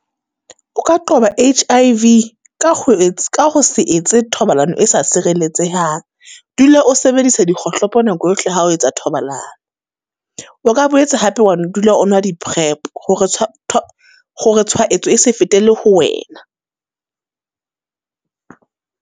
O ka qoba H_I_V ka ho ka ho se etsa thobalano e sa sireletsehang. Dula o sebedisa dikgohlopo nako yohle ha o etsa thobalano. O ka boetse hape wa dula o nwa di-prep hore hore tshwaetso e se fetele ho wena.